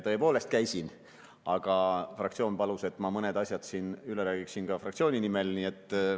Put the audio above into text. Tõepoolest käisin, aga fraktsioon palus, et ma mõned asjad üle räägiksin fraktsiooni nimel.